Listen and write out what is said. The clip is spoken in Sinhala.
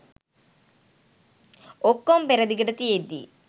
ඔක්කොම පෙරදිගට තියෙද්දි